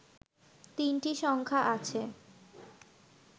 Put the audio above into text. তিনটি সংখ্যা আছে